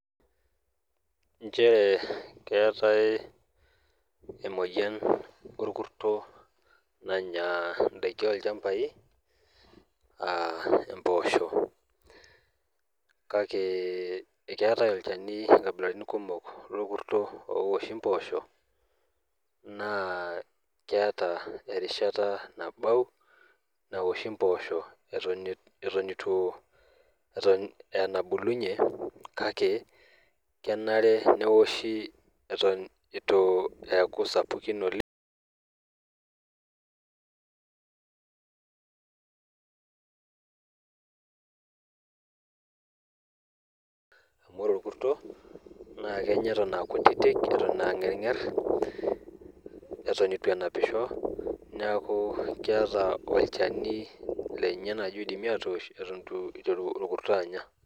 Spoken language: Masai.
Nchere keetae emoyiani orkurto nanya inaiki olchambai aa imposho , kake ekeetae olchani nkabilaritin kumok lokurto lowoshi mposho naa keeta erishata nabau naoshi imposho eton itu , eton ee enabulunyie kake kenare neoshi eton itu eaku sapukin oleng amu ore orkurto naa kenya eton aa kutitik eton aa ngenger , eton itu enapisho , niaku keeta olchani lenye naji oidimi atoosh eton itu iteru orkurto anya.